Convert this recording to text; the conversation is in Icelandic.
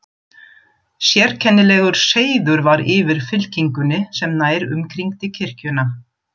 Sérkennilegur seiður var yfir fylkingunni sem nær umkringdi kirkjuna.